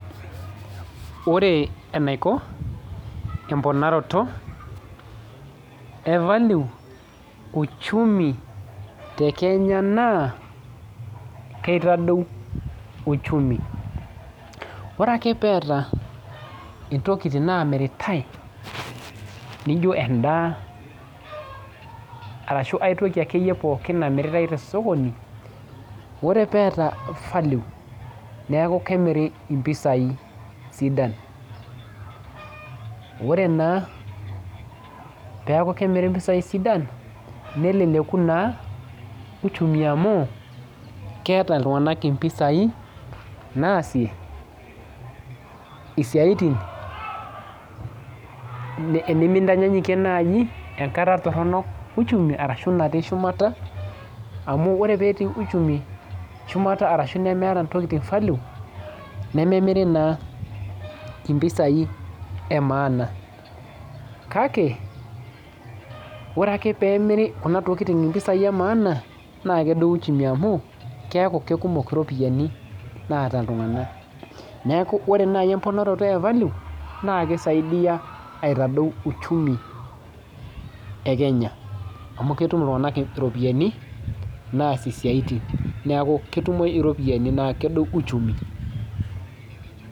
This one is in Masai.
Ore enaiko emponaroto e value uchumi e Kenya naa ketadou uchumi oree ake peeta intokitin naamiritai nijo endaa arashu aitoki ake iyie pookin namiritai tosokoni ore peeta value neeku kemiri impisai sidan ore naa peeku kemiri impisai sidan neleleku naa uchumi amu keeta iltunganak impisai naasie isiaitin nimintanyanyikie naaji enkata toronok uchumi arashu naati shumata amu ore peeti uchumi shumata arashu nemeeta intokitin value nememirii naa impisaii emaana kake ore ake peemiri kuna tokitin impisai emaana na kedou uchumi amu keeku kekuumok iropiyiani naata iltunganak neeku ore naaji emponarato e value naaa keisaidia aitadou uchumi e Kenya amu ketum iltunganak iropiyiani naasie siaitin neeku ketumoyu ropiyani nedou uchumi.